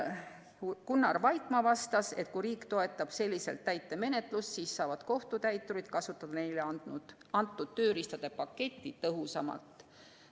Gunnar Vaikmaa vastas, et kui riik toetab selliselt täitemenetlust, siis saavad kohtutäiturid kasutada neile antud tööriistade paketti tõhusamalt.